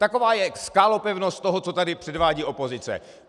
Taková je skálopevnost toho, co tady předvádí opozice.